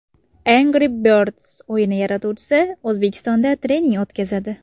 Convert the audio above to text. Angry Birds o‘yini yaratuvchisi O‘zbekistonda trening o‘tkazadi.